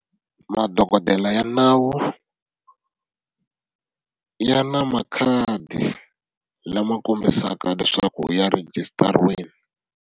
Madokodela ya nawu ya na makhadi lama kombisaka leswaku ya rejistariwile.